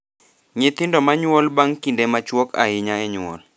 Nyithindo ma nyuol bang’ kinde machuok ahinya e nyuol,